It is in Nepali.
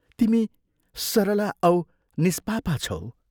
तिमी सरला औ निष्पापा छौ।